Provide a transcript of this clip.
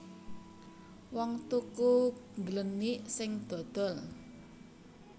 Wong tuku ngglenik sing dodol